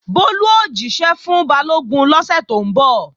Bólú ó jíṣẹ́ fún Balógun lọ́sẹ̀ tó ń bọ̀